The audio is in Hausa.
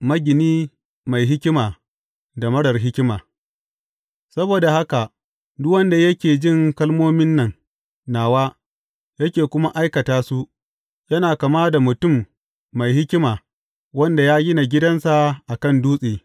Magini mai hikima da marar hikima Saboda haka duk wanda yake jin kalmomin nan nawa yake kuma aikata su, yana kama da mutum mai hikima wanda ya gina gidansa a kan dutse.